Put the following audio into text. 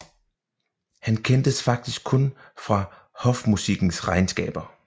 Han kendes faktisk kun fra hofmusikkens regnskaber